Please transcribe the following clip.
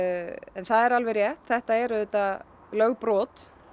en það er alveg rétt að þetta er auðvitað lögbrot